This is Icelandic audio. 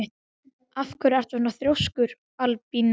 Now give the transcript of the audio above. Af hverju ertu svona þrjóskur, Albína?